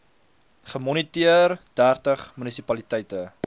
gemoniteer dertig munisipaliteite